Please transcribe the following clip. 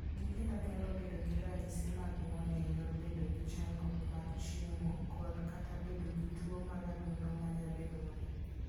Nyithindo nyalo bedo gi ranyisi mag ng'ol e yor bedo gi chandruok mar chiemo kod/ kata bedo gi tuwo mar adundo ma nyadinwoya.